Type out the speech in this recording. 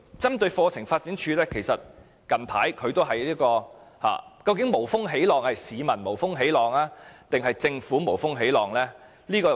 針對課程發展處近來遭受的批評，究竟是市民無風起浪，還是政府無風起浪呢？